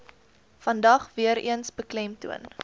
vandag weereens beklemtoon